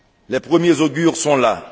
Les premiers augures sont